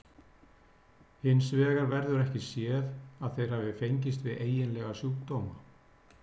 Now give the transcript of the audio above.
Hins vegar verður ekki séð að þeir hafi fengist við eiginlega sjúkdóma.